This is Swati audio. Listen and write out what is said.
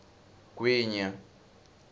gwinya